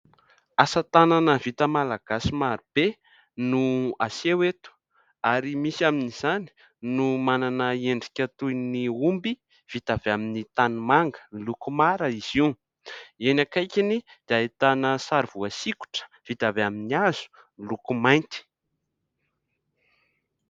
Asan-tanana vita malagasy marobe no aseho eto ary misy amin' izany no manana endrika toy ny omby vita avy amin' ny tanimanga. Miloko mara izy io, eny akaikany dia ahitana sary voasikotra vita avy amin' ny hazo miloko mainty.